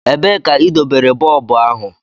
Ebee ka idobere bọlbụ ahụ?